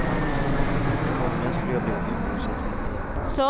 Förmodligen skulle jag bli ett uruselt vittne.